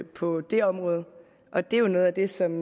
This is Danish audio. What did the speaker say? på det område og det er jo noget af det som